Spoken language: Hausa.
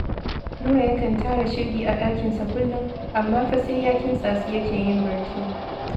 Nura yakan tara shirgi a ɗakinsa kullum, amma fa sai ya kintsa su yake yin barci